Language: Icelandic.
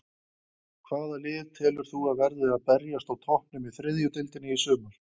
Hvaða lið telur þú að verði að berjast á toppnum í þriðju deildinni í sumar?